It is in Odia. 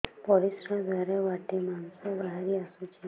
ପରିଶ୍ରା ଦ୍ୱାର ବାଟେ ମାଂସ ବାହାରି ଆସୁଛି